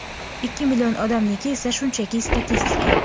ikki million odamniki esa shunchaki statistika.